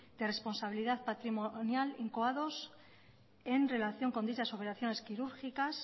de responsabilidad patrimonial incoados en relación con dichas operaciones quirúrgicas